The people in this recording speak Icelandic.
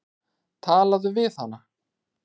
Talaðu við hana.